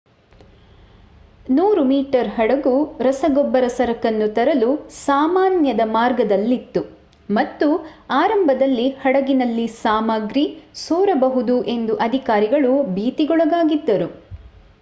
100 metre ಹಡಗು ರಸಗೊಬ್ಬರ ಸರಕನ್ನು ತರಲು ಸಾಮಾನ್ಯದ ಮಾರ್ಗದಲ್ಲಿತ್ತು ಮತ್ತು ಆರಂಭದಲ್ಲಿ ಹಡಗಿನಲ್ಲಿ ಸಾಮಗ್ರಿ ಸೋರಬಹುದು ಎಂದು ಅಧಿಕಾರಿಗಳು ಭೀತಿಗೊಳಗಾಗಿದ್ದರು